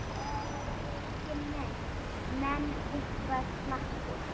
Breki: Menn, menn eitthvað slappir?